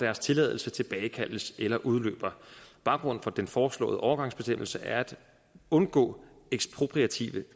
deres tilladelse tilbagekaldes eller udløber baggrunden for den foreslåede overgangsbestemmelse er at undgå ekspropriative